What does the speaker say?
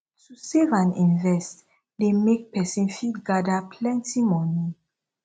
to save and invest de make persin fit gather plenty money